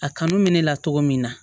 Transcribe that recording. A kanu bɛ ne la cogo min na